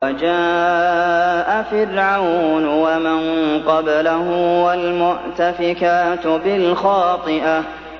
وَجَاءَ فِرْعَوْنُ وَمَن قَبْلَهُ وَالْمُؤْتَفِكَاتُ بِالْخَاطِئَةِ